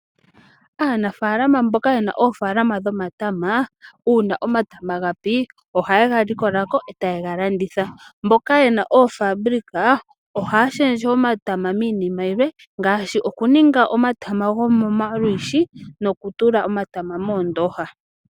Aanafaalama mboka yena oofaalama dhomatama uuna omatama gapi ohaye ga likolako eta ye galanditha mboka yena omahangano ohaya shendje omatama miinima yilwe, ngaashi okuninga omatama gomomalwishi nokutula omatama moondoha.